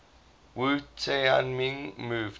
wu tianming moved